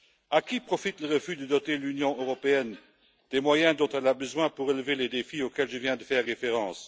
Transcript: À qui profite le refus de doter l'Union européenne des moyens dont elle a besoin pour relever les défis auxquels je viens de faire référence?